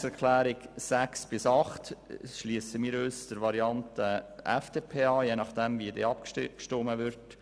Bei den Planungserklärungen 6 bis 8 schliessen wir uns der Variante FDP an, je nachdem wie dann abgestimmt wird.